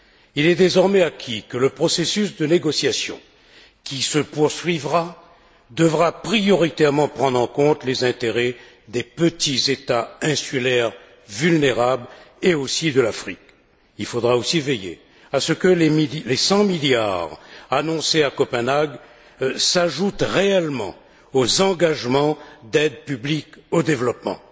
Il est désormais acquis que le processus de négociations qui se poursuivra devra prioritairement prendre en compte les intérêts des petits États insulaires vulnérables, et aussi de l'Afrique. Il faudra aussi veiller à ce que les 100 milliards annoncés à Copenhague s'ajoutent réellement aux engagements pris en matière d'aides publiques au développement.